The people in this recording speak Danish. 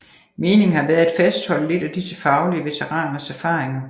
Meningen har været at fastholde lidt af disse faglige veteraners erfaringer